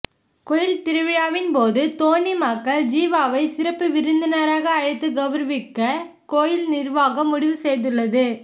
கோயில் திருவிழாவின் போது தோனி மகள் ஜிவாவை சிறப்பு விருந்தினராக அழைத்து கவுரவிக்க கோயில் நிர்வாகம் முடிவு செய்துள்ளது